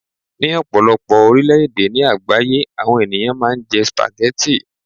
ní ọpọlọpọ orilẹ ede ni àgbáyé àwọn ènìyàn ma n je spaghetti